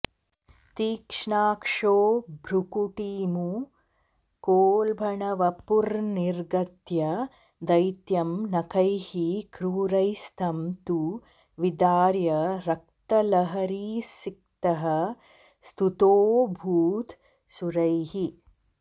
तीक्ष्णाक्षो भ्रुकुटीमुखोल्बणवपुर्न्निर्गत्य दैत्यं नखैः क्रूरैस्तं तु विदार्य रक्तलहरीसिक्तः स्तुतोऽभूत् सुरैः